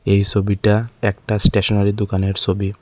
এই সবিটা একটা স্টেশনারি দোকানের সবি।